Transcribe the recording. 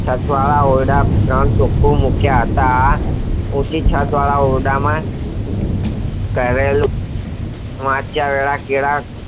છત વાળા ઓરડા ત્રણ ચોખા મોટા ઓછી છાયા વાળા ઓરડા માં કરેલ વાંચિયેલ કેળા